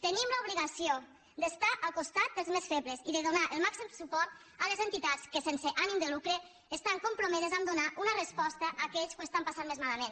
tenim l’obligació d’estar al costat dels més febles i de donar el màxim suport a les entitats que sense ànim de lucre estan compromeses a donar una resposta a aquells que ho estan passant més malament